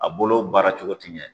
A bolo baara cogo tɛ ɲɛ.